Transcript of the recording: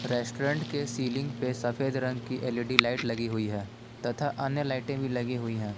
Restaurant के ceiling पे सफेद रंग की एल_इ_डी लाइट लगी हुई है तथा अन्य लाइटें भी लगी हुई है।